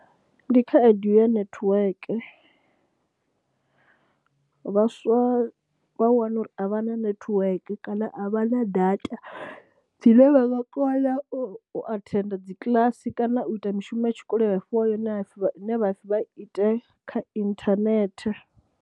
Ndi khaedu ya netiweke, vhaswa vha wane uri a vha na netiweke kana a vha na data dzine vha nga kona u athenda dzikiḽasi kana u ita mishumo ya tshikolo ye vha fhiwa yone ine ha pfhi vha i ite kha inthanethe.